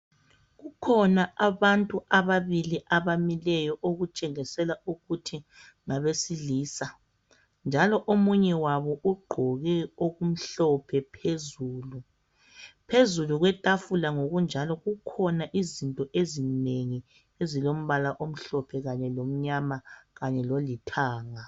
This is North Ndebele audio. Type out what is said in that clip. Kukhona abantu ababili abamileyo okutshengisela ukuthi ngabesilisa njalo omunye wabo ugqoke okumhlophe phezulu. Phezulu kwetafula ngokunjalo kukhona izinto ezinengi ezilombala omhlophe kanye lomnyama kanye lolithanga